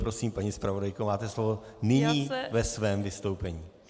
Prosím, paní zpravodajko, máte slovo nyní ve svém vystoupení.